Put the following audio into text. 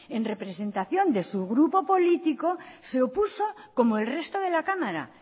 en representación de su grupo político se opuso como el resto de la cámara